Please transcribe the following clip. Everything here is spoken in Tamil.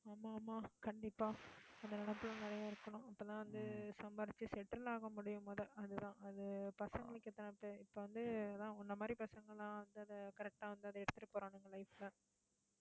ஆமா, ஆமா, கண்டிப்பா அந்த நினைப்பெல்லாம் நிறைய இருக்கணும். அப்பதான் வந்து சம்பாரிச்சு settle ஆக முடியும் முத அதுதான் அது பசங்களுக்கு எத்தனை பேர் இப்ப வந்து அதான் உன்னை மாரி பசங்கெல்லாம் வந்து அதை correct ஆ வந்து அதை எடுத்துட்டு போறானுங்க life ல